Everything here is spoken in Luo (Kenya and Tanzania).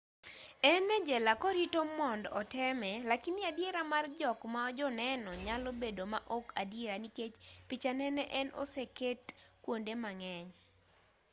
en e jela korito mond oteme lakini adiera mar jok ma joneno nyalo bedo ma ok adiera nikech pichane ne en oseket kuonde mang'eny